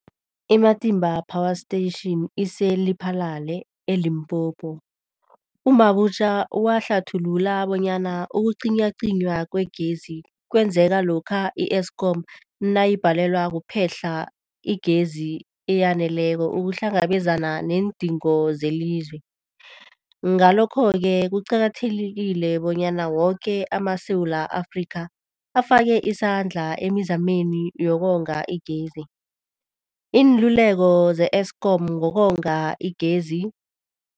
I-Matimba Power Station ise-Lephalale, eLimpopo. U-Mabotja wahlathulula bonyana ukucinywacinywa kwegezi kwenzeka lokha i-Eskom nayibhalelwa kuphe-hla igezi eyaneleko ukuhlangabezana neendingo zelizwe. Ngalokho-ke kuqakathekile bonyana woke amaSewula Afrika afake isandla emizameni yokonga igezi. Iinluleko ze-Eskom ngokonga igezi.